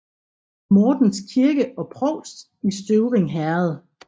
Mortens Kirke og Provst i Støvring Herred